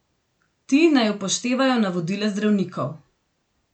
Ti naj upoštevajo navodila zdravnikov.